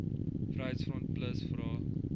vryheids front plus vra